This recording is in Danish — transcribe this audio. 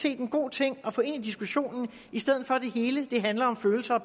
en god ting at få ind i diskussionen i stedet for at det hele handler om følelser